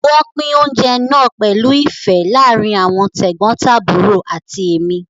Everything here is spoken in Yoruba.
Wọ́n pín oúnjẹ náà pẹ̀lú ìfẹ́ láàárín àwọn tẹ̀gbọ́ntàbúrò àti èmi